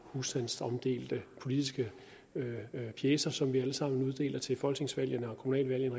husstandsomdelte politiske pjecer som vi alle sammen uddeler til folketingsvalgene eller kommunalvalgene